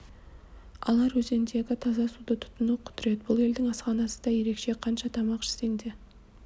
алар өзендегі таза суды тұтыну құдірет бұл елдің асханасы да ерекше қанша тамақ ішсең де